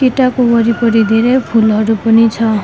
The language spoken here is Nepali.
केटाको वरिपरि धेरै फूलहरू पनि छ।